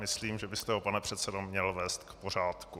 Myslím, že byste ho, pane předsedo, měl vést k pořádku.